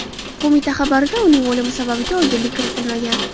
Qo‘mita xabarida uning o‘limi sababiga oydinlik kiritilmagan.